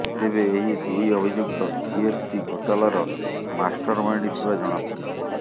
ତେବେ ଏହି ଦୁଇ ଅଭିଯୁକ୍ତ ଜିଏସ୍ଟି ଘୋଟାଲର ମାଷ୍ଟର ମାଇଣ୍ଡ ଥିବା ଜଣାପଡ଼ିଛି